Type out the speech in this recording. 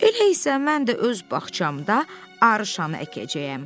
Elə isə mən də öz bağçamda Arışanı əkəcəyəm.